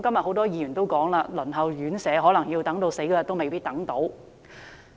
很多議員今天也說，輪候院舍的可能等到離世那天也未有宿位。